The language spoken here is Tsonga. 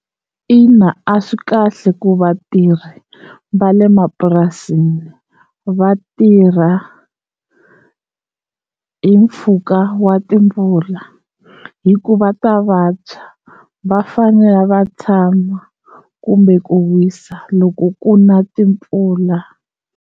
Ina a swi kahle ku vatirhi va le mapurasini va tirha hi mpfhuka wa timpfula hi ku va ta vabya va fanele va tshama kumbe ku wisa loko ku na timpfula.